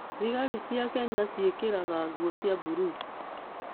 Thigari cia Kenya ciĩkĩraga nguo cia mburuu.